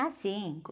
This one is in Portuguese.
Ah, sim.